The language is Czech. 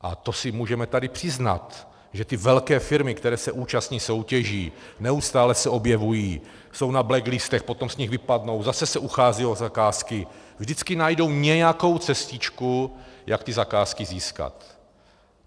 A to si můžeme tady přiznat, že ty velké firmy, které se účastní soutěží, neustále se objevují, jsou na blacklistech, potom z nich vypadnou, zase se ucházejí o zakázky, vždycky najdou nějakou cestičku, jak ty zakázky získat.